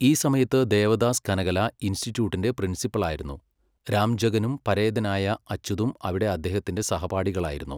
ഈ സമയത്ത് ദേവദാസ് കനകല ഇൻസ്റ്റിറ്റ്യൂട്ടിന്റെ പ്രിൻസിപ്പലായിരുന്നു, രാംജഗനും പരേതനായ അച്യുതും അവിടെ അദ്ദേഹത്തിന്റെ സഹപാഠികളായിരുന്നു.